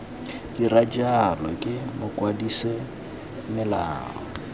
dira jalo ke mokwadise melao